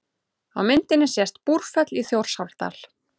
Á myndinni sést Búrfell í Þjórsárdal.